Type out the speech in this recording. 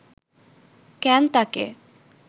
কেন তাকে